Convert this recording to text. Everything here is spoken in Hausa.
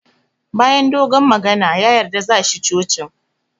Bayan dogon magana, ya yarda za shi cocin